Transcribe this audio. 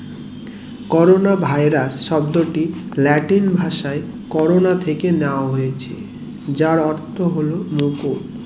corona virus শব্দটি latin ভাষায় corona থেকে নেওয়া হয়েছে যার অর্থ হলো মুকুর